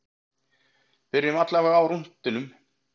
Byrjum allavega á rúntinum.